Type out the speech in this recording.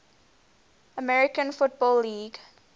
american football league